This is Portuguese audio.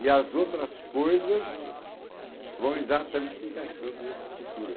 E as outras coisas vão exatamente se encaixando nessa cultura.